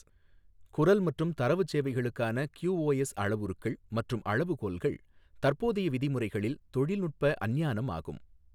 குரல் மற்றும் தரவு சேவைகளுக்கான கியூஓஎஸ் அளவுருக்கள் மற்றும் அளவுகோல்கள் தற்போதைய விதிமுறைகளில் தொழில்நுட்ப அஞ்ஞானம் ஆகும்.